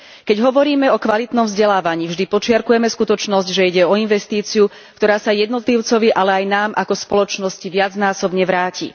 Keď hovoríme o kvalitnom vzdelávaní, vždy podčiarkujeme skutočnosť, že ide o investíciu, ktorá sa jednotlivcovi, ale aj nám ako spoločnosti viacnásobne vráti.